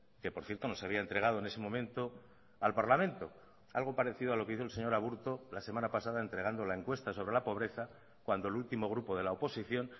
que por cierto no se había entregado en ese momento al parlamento algo parecido a lo que hizo el señor aburto la semana pasada entregando la encuesta sobre la pobreza cuando el último grupo de la oposición